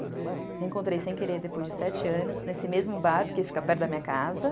Reencontrei sem querer depois de sete anos, nesse mesmo bar, porque fica perto da minha casa.